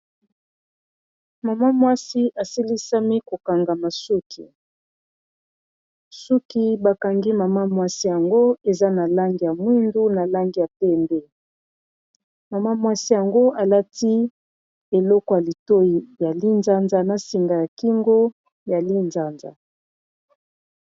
Mama mwasi asilisami kokangama suki suki bakangi mama mwasi yango eza na langi ya mwindu na langi ya temb mama mwasi yango alati eleko ya litoi ya li nzanza na singa ya kingo ya li-nzanza.